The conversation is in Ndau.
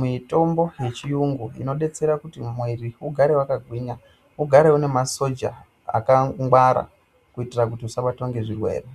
mitombo yechiyungu ,inodetsera kuti mwiri ugare wakagwinya, ugare unemasoja akangwara kuyitira kuti usabatwa ngezvirwere.